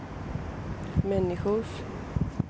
människors